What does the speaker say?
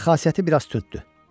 Amma xasiyyəti biraz tünddür.